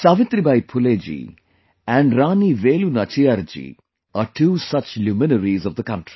Savitribai Phule ji and Rani Velu Nachiyar ji are two such luminaries of the country